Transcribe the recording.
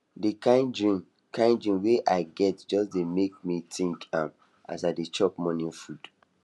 the kin dream kin dream wey i get just dey make me think am as i dey chop morning food